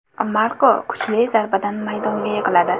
Marko kuchli zarbadan maydonga yiqiladi.